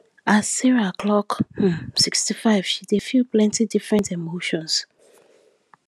as sarah clock um sixty five she dey feel plenty different emotions